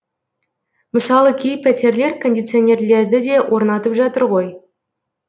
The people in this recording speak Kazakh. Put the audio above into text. мысалы кей пәтерлер кондиционерлерді де орнатып жатыр ғой